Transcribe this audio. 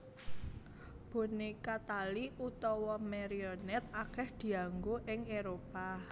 Boneka tali utawa Marionet akeh dianggo ing eropa